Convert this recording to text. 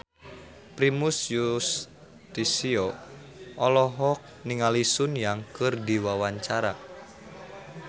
Primus Yustisio olohok ningali Sun Yang keur diwawancara